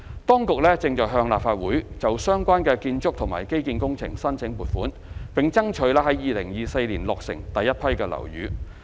當局正向立法會就相關的建築及基建工程申請撥款，並爭取在2024年落成第一批樓宇。